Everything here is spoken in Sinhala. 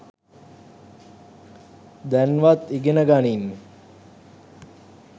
දැන්වත් ඉගනගනින්